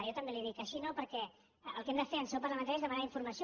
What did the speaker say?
jo també li ho dic així no perquè el que hem de fer en seu parlamentària és demanar informació